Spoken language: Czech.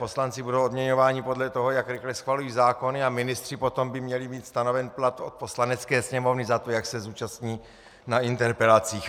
Poslanci budou odměňováni podle toho, jak rychle schvalují zákony, a ministři potom by měli mít stanoven plat od Poslanecké sněmovny za to, jak se zúčastní na interpelacích.